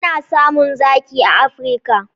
Ana samun zaki a Afirka.